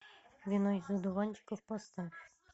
вино из одуванчиков поставь